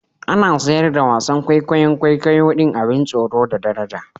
Ana siyar da wasan kwaikwayon kwaikwayo din abin tsoro da daraja